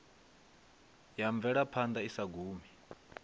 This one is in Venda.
ya mvelaphanḓa i sa gumi